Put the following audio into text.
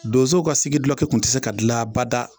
Donzow ka sigi gulɔki kun te se ka gila abada